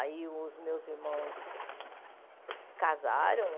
Aí os meus irmãos casaram.